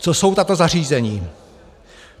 Co jsou tato zařízení?